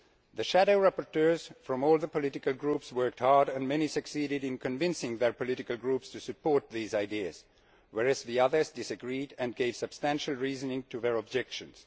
The shadow rapporteurs from all the political groups worked hard and many succeeded in convincing their political groups to support these ideas, whereas others disagreed and gave substantial reasons for their objections.